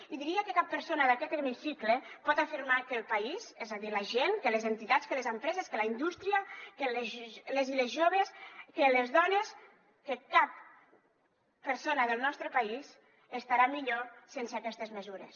i diria que cap persona d’aquest hemicicle pot afirmar que el país és a dir la gent que les entitats que les empreses que la indústria que les i les joves que les dones que cap persona del nostre país estarà millor sense aquestes mesures